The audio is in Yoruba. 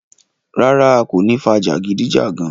Rárá, a kò ní fà jagidijagan.